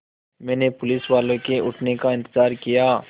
मैंने पुलिसवाले के उठने का इन्तज़ार किया